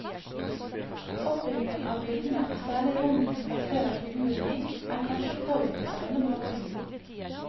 Oppbyggingen av bildene og særlig rommet hun plasserer figurene i, er kanskje påvirket av denne bakgrunnen.